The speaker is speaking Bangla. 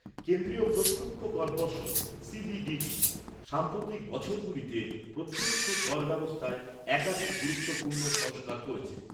কেন্দ্রীয় প্রত্যক্ষ কর পর্ষদ সিবিডিটি সাম্প্রতিক বছরগুলিতে প্রত্যক্ষ কর ব্যবস্থায় একাধিক গুরুত্বপূর্ণ সংস্কার করেছে।